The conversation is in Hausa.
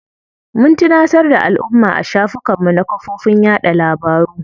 Mun tunatar da alumma a shafukan mu na kafofin yaɗa labaru.